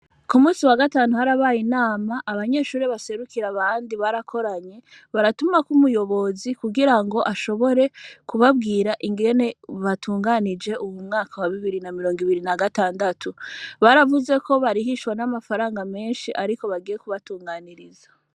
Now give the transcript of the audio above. Ku musi wa gatantu harabaye inama abanyeshuri baserukira abandi barakoranye baratumako umuyobozi kugira ngo ashobore kubabwira ingene batunganije uwu mwaka wa bibiri na mirongo ibiri na gatandatu baravuze ko barihishwa n'amafaranga menshi, ariko bagiye kubatunganiriza.